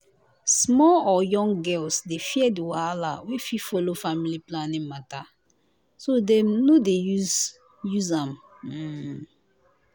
small or young girls dey fear the wahala wey fit follow family planning matter so dem no dey use use am hmmm